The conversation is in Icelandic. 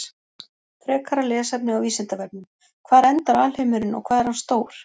Frekara lesefni á Vísindavefnum: Hvar endar alheimurinn og hvað er hann stór?